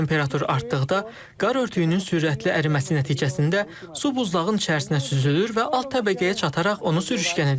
Temperatur artdıqda, qar örtüyünün sürətli əriməsi nəticəsində su buzlağın içərisinə süzülür və alt təbəqəyə çataraq onu sürüşkən edir.